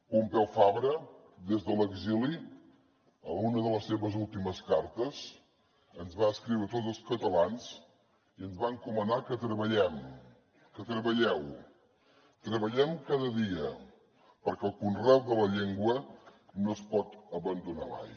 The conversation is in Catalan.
pompeu fabra des de l’exili en una de les seves últimes cartes ens va escriure a tots els catalans i ens va encomanar que treballem que treballeu treballem cada dia perquè el conreu de la llengua no es pot abandonar mai